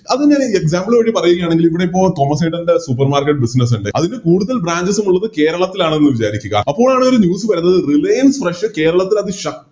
അതൊന്നൊര് Example നോക്കി പറയുകയാണെങ്കില് എവിടെയിപ്പോ തോമസ്സേട്ടൻറെ Supermarket business ഇണ്ട് അതിൻറെ കൂടുതൽ Branches ഉം കൂടുതൽ കേരളത്തിലാണെന്ന് വിചാരിക്കുക അപ്പോഴാണൊരു News വരുന്നത് Reliance fresh കേരളത്തിലതി ശ